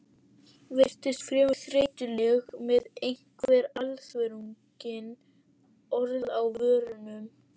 Virtist fremur þreytuleg með einhver alvöruþrungin orð á vörunum.